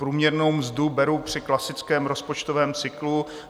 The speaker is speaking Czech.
Průměrnou mzdu beru při klasickém rozpočtovém cyklu.